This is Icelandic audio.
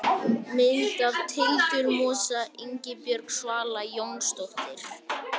Mynd af tildurmosa: Ingibjörg Svala Jónsdóttir.